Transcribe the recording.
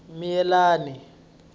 miyelani